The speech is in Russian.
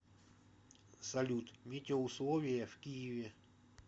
салют метеоусловия в киеве